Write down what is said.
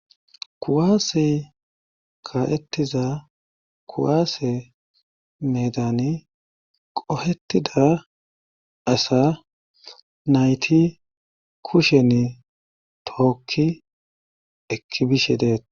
kuwaase kaettiza kuwaase medan qohetida asa nayti kushen tookki ekki bishe deet